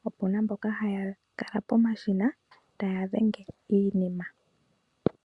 po opu na mboka haya kala pomashina, ta ya dhenge iinima.